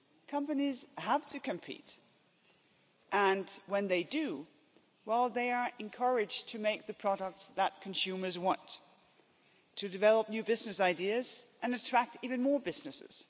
Companies have to compete and when they do, well, they are encouraged to make the products that consumers want, to develop new business ideas and attract even more businesses.